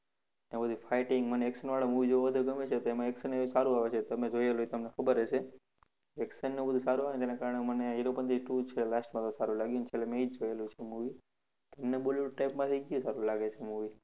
એમાં જો fighting, મને action વાળા movie જોવા વધારે ગમે છે તો એમાં action સારું આવે છે. તમે જોયેલું હશે તો તમને ખબર હશે action ને એ બધું સારું આવેને એના કારણે મને હીરોપનતી two જ last માં સારું લાગ્યું ને છેલ્લે મેં ઈ જોયેલું છે movie. તમને bollywood type માંથી કયું સારું લાગે છે movie?